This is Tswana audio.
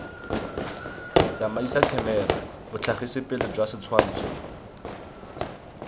tsamaisa khemera botlhagisipele jwa setshwantsho